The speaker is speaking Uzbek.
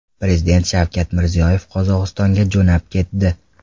Prezident Shavkat Mirziyoyev Qozog‘istonga jo‘nab ketdi.